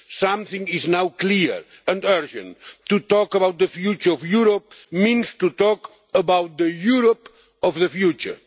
Something is now clear and urgent. To talk about the future of Europe means to talk about the Europe of the future.